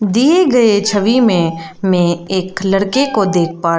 दिए गए छवि में मैं एक लड़के को देख पा र--